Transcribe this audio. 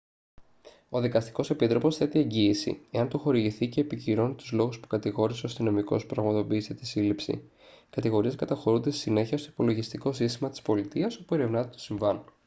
ο δικαστικός επίτροπος θέτει εγγύηση εάν του χορηγηθεί και επικυρώνει τους λόγους που κατηγόρησε ο αστυνομικός που πραγματοποίησε τη σύλληψη οι κατηγορίες καταχωρούνται στη συνέχεια στο υπολογιστικό σύστημα της πολιτείας όπου ερευνάται το συμβάν